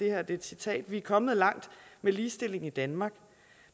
er et citat vi er kommet langt med ligestilling i danmark